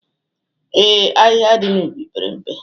Ee, ahịhịa dị n'ubi pere mpe.